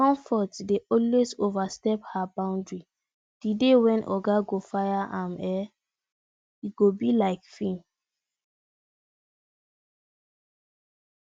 comfort dey always overstep her boundary the day when oga go fire am e go be her like film